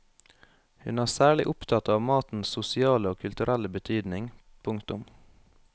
Hun er særlig opptatt av matens sosiale og kulturelle betydning. punktum